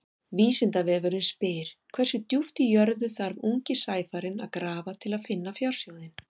Vísindavefurinn spyr: Hversu djúpt í jörðu þarf ungi sæfarinn að grafa til að finna fjársjóðinn?